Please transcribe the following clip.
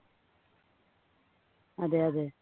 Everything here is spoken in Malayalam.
അതേ അതേ